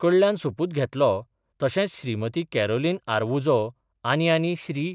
कडल्यान सोपूत घेतलो तशेंच श्रीमती कॅरोलिन आरवुजो आनी आनी श्री.